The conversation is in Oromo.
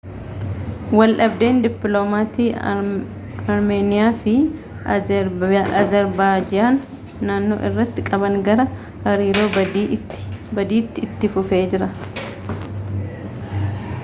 waldhabdeen dippiloomaatii armeeniyaa fi azerbaajiyaan naannoo irratti qaban gara hariiroo badiitti itti fufee jira